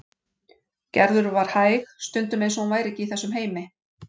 Gerður var hæg, stundum eins og hún væri ekki í þessum heimi.